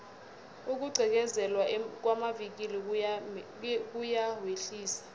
ukugqekezelwa kwamavikili kuyawehlisa